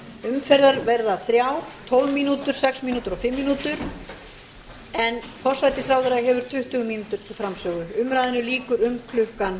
umferðir verða þrjár tólf mínútur sex mínútur og fimm mínútur en forsætisráðherra hefur tuttugu mínútur til framsögu umræðunni lýkur um